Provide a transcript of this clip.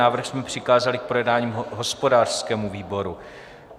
Návrh jsme přikázali k projednání hospodářskému výboru.